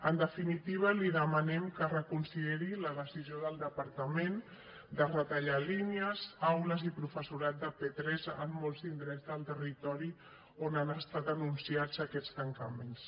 en definitiva li demanem que reconsideri la decisió del departament de retallar línies aules i professorat de p3 en molts indrets del territori on han estat anunciats aquests tancaments